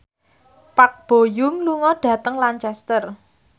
Park Bo Yung lunga dhateng Lancaster